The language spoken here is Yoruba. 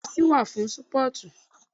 Bẹ́ẹ̀ni jẹ́sí wa fún sportu